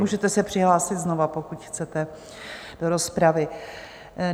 Můžete se přihlásit znova, pokud chcete, do rozpravy.